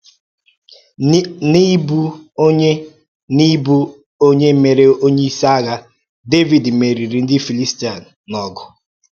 N’ịbụ onye N’ịbụ onye e mere onyeisi agha, Dẹvid meriri ndị Fịlistia n’ọgụ.